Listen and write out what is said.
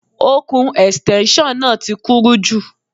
Ọ̀kùn Ẹ̀stẹ́nṣọ̀n náà ti kúrú jù